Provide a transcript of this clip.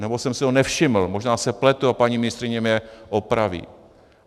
Nebo jsem si ho nevšiml, možná se pletu a paní ministryně mě opraví.